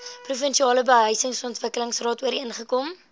provinsiale behuisingsontwikkelingsraad ooreengekom